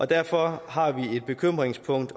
derfor har vi et bekymringspunkt